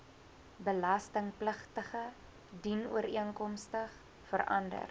belastingpligtige dienooreenkomstig verander